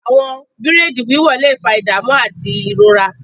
Àwọn bìraidi wiwọ le fa idamu ati irora.